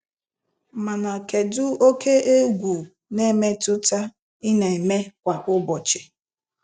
Mana kedụ oke egwu na-emetụta ị na-eme kwa ụbọchị.